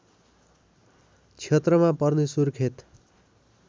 क्षेत्रमा पर्ने सुर्खेत